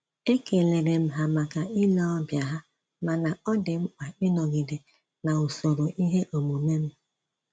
E kelerem ha maka ile ọbịa ha, mana ọ dị mkpa ịnọgide na-usoro ihe omume m